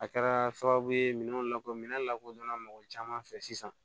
A kɛra sababu ye minɛn lakoli minɛn lakodɔnna mɔgɔ caman fɛ sisan